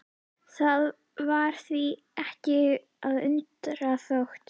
Það var því ekki að undra þótt